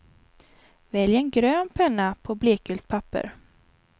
Välj en grön penna på blekgult papper.